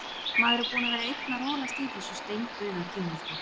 Maður er búinn að vera einn að rolast í þessu steindauða gímaldi.